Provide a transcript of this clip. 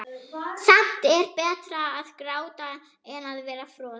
Samt er betra að gráta en vera frosinn.